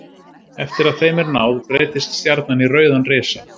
Eftir að þeim er náð breytist stjarnan í rauðan risa.